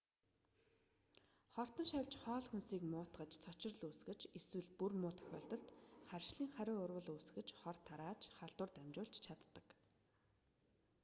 хортон шавьж хоол хүнсийг муутгаж цочрол үүсгэж эсвэл бүр муу тохиолдолд харшлын хариу урвал үүсгэж хор тарааж халдвар дамжуулж чаддаг